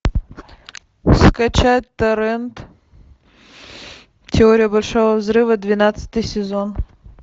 скачать торрент теория большого взрыва двенадцатый сезон